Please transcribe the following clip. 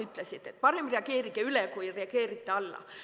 Öeldi, et parem reageerida üle kui reageerida alla.